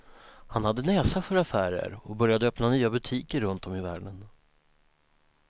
Han hade näsa för affärer och började öppna nya butiker runt om i världen.